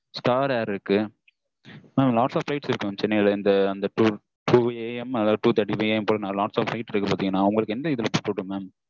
star air இருக்கு mam lots of flight இருக்கு mam சென்னையில் இருந்து two AM அதாவது two thirty AM போல lots of flight இருக்கு mam உங்களுக்கு எந்த இதுல போடட்டும் mam